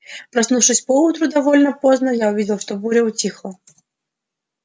проснувшись поутру довольно поздно я увидел что буря утихла